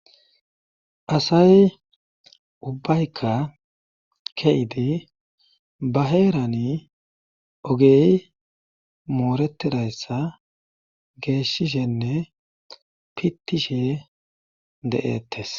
asay ubbayka keidi ba heerani ogey mooretidayssa geeshishenne pittishe de7ettes